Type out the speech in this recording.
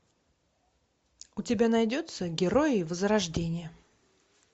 у тебя найдется герои возрождение